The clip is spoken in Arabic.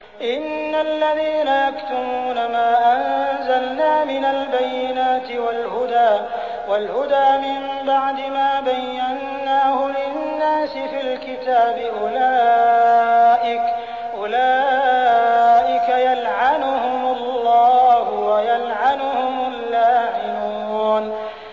إِنَّ الَّذِينَ يَكْتُمُونَ مَا أَنزَلْنَا مِنَ الْبَيِّنَاتِ وَالْهُدَىٰ مِن بَعْدِ مَا بَيَّنَّاهُ لِلنَّاسِ فِي الْكِتَابِ ۙ أُولَٰئِكَ يَلْعَنُهُمُ اللَّهُ وَيَلْعَنُهُمُ اللَّاعِنُونَ